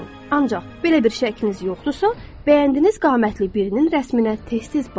Ancaq belə bir şəkliniz yoxdursa, bəyəndiyiniz qamətli birinin rəsminə tez-tez baxın.